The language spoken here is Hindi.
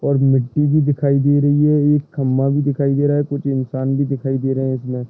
और मिट्टी भी दिखाई दे रही है एक खंभा भी दिखाई दे रहा है कुछ इन्सान भी दिखाई दे रहे है इसमें।